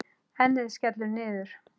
Ennið skellur niður.